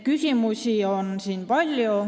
Küsimusi on palju.